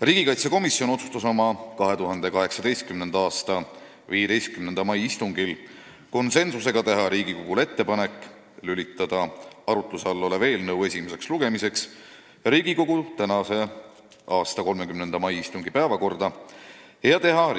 Riigikaitsekomisjon otsustas oma 2018. aasta 15. mai istungil konsensusega teha Riigikogule ettepaneku lülitada arutuse all olev eelnõu esimeseks lugemiseks Riigikogu tänase, 30. mai istungi päevakorda ja teha